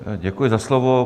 Děkuji za slovo.